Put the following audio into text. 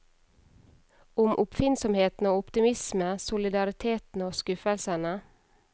Om oppfinnsomheten og optimisme, solidariteten, og skuffelsene.